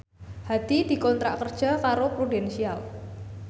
Hadi dikontrak kerja karo Prudential